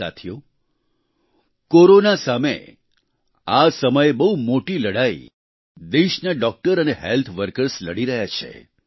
સાથીઓ કોરોના સામે આ સમયે બહુ મોટી લડાઈ દેશના ડોક્ટર અને હેલ્થ વર્કર્સ લડી રહ્યા છે